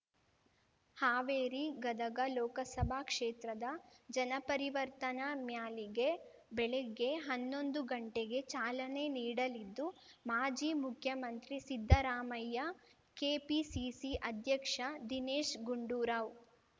ಹಾವೇರಿ ಗದಗ ಲೋಕಸಭಾ ಕ್ಷೇತ್ರದ ಜನಪರಿವರ್ತನಾ ಮ್ಯಾಲಿಗೆ ಬೆಳಿಗ್ಗೆ ಹನ್ನೊಂದು ಗಂಟೆಗೆ ಚಾಲನೆ ನೀಡಲಿದ್ದು ಮಾಜಿ ಮುಖ್ಯಮಂತ್ರಿ ಸಿದ್ದರಾಮಯ್ಯ ಕೆಪಿಸಿಸಿ ಅಧ್ಯಕ್ಷ ದಿನೇಶ್ ಗುಂಡೂರಾವ್